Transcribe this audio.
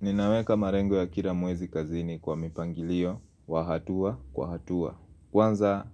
Ninaweka malengo ya kila mwezi kazini kwa mipangilio wa hatua kwa hatua. Kwanza